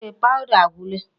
Ee, powder agwụla.